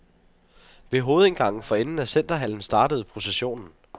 Ved hovedindgangen for enden af centerhallen startede processionen.